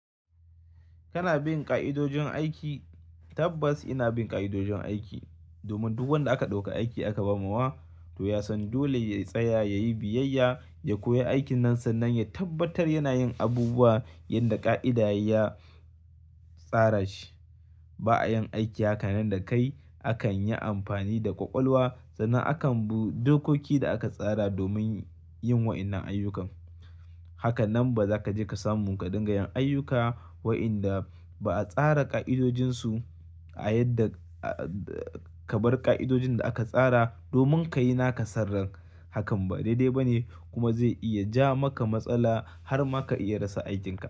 Kana bin ƙa'idojin aiki? Tabbas ina bin ƙa'idojin aiki domin duk wanda aka ɗauka aiki aka ba mawa to ya san dole ya tsaya, ya yi biyayya, ya koyi aikin nan sannan ya tabbatar yana yin abubuwa yanda ƙa'ida ya tsara shi. Ba a yin aiki haka nan da kai. Akan yi amfani da ƙwaƙwalwa sannan akan bi dokokin da aka tsara domin yin waɗannan ayyuka. Haka nan ba za ka je ka samu ka dinga yin ayyuka waɗanda ba a tsara ƙa'idojinsu a yadda ka bar ƙa'idojin da aka tsara domin ka yi naka san ran. Hakan ba daidai ba ne kuma zai iya ja maka matsala har ma ka iya rasa aikinka.